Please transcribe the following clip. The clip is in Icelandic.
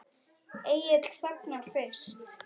Egill þagnar fyrst.